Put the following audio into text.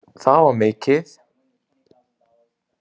Það var mikið.